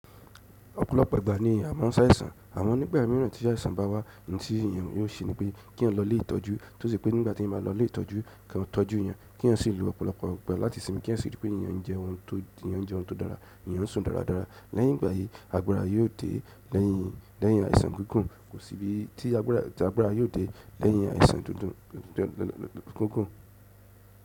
Ọ̀pọ̀lọpọ̀ ìgbà ni a maa n sa àìsàn, amo nìgbà mìíràn tí àìsàn ba wá, ohun tí èyàn yio se ní pé kí èèyàn ló ilé ìtọ́jú, tó sì ṣe pé nígbàtí èèyàn bá ló ilé ìtọ́jú, ki wọ́n tọ́jú èèyàn, kí èèyàn sì lo ọ̀pọ̀lọpọ̀ ìgbà láti sìnmi kí èèyàn si ri pé èèyàn n jẹun tó dára, èèyàn n sùn dáradára. Lẹ́yìn ìgbà yìí agbára yio de lẹ́yìn àìsàn kíkún, kò sí bí ti àgbàrá yíò dé lẹ́yìn àìsàn kíkún.